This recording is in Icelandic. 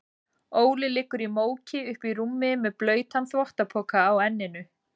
Óli liggur í móki uppí rúmi með blautan þvottapoka á enninu.